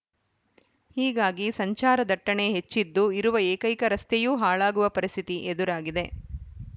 ಹೀಗಾಗಿ ಸಂಚಾರ ದಟ್ಟಣೆ ಹೆಚ್ಚಿದ್ದು ಇರುವ ಏಕೈಕ ರಸ್ತೆಯೂ ಹಾಳಾಗುವ ಪರಿಸ್ಥಿತಿ ಎದುರಾಗಿದೆ